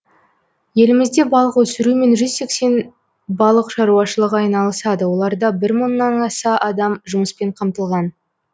елімізде балық өсірумен жүз сексен балық шаруашылығы айналысады оларда бір мыңнан аса адам жұмыспен қамтылған